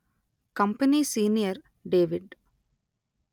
company senior David